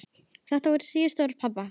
Þetta voru síðustu orð pabba.